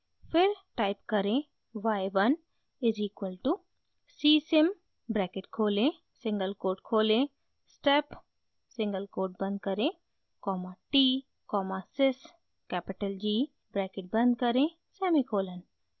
फिर टाइप करें y 1 is equal to c sim bracket खोलें सिंगल कोट खोलें step सिंगल कोट बंद करें comma t comma sys capital g bracket बंद करें सेमीकोलन